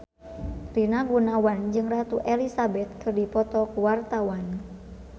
Rina Gunawan jeung Ratu Elizabeth keur dipoto ku wartawan